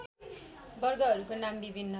वर्गहरूको नाम विभिन्न